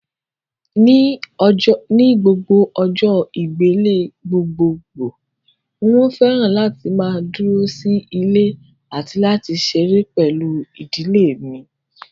Ni gbogbo ọjọ́ ìgbélé gbogbogbòò mo fẹ́ràn láti máa dúró sí ilé àti láti ṣeré pẹ̀lú ìdílé mi